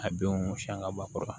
A denw siɲɛ ka ba kɔrɔ